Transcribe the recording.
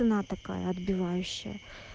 цена такая отбивающая